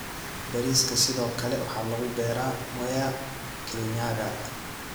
Bariiska sidoo kale waxaa lagu beeraa Mwea, Kirinyaga.